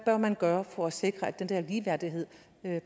bør man gøre for at sikre at den der ligeværdighed